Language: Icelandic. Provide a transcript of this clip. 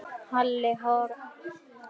Halli hor hafði séð hann.